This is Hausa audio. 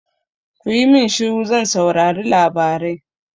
Kuyi min shiru zan saurari labarai!